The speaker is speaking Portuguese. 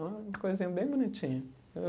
Uma coisinha bem bonitinha.